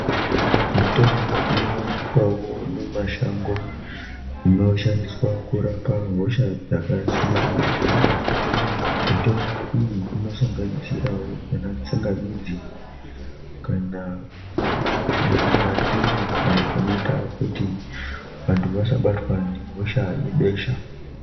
Mutombo ino wanikwawo mi mashango ino shandiswa kurapa hosha dzaka siyana siyana mitombo iyi ino sanganisirawo ana tsangamidzi kana mandimu ayo anoita kuti vantu vasa batwa ne hosha yebesha.